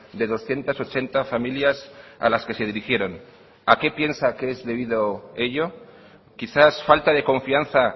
de doscientos ochenta familias a las que se dirigieron a qué piensa que es debido ello quizás falta de confianza